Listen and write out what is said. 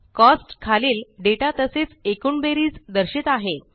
costs खालील data तसेच एकूण बेरीज दर्शित आहे